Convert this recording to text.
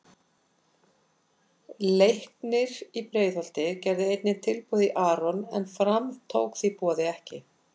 Leiknir í Breiðholti gerði einnig tilboð í Aron en Fram tók því boði ekki.